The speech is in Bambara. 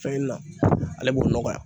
Fɛn na ale b'o nɔgɔya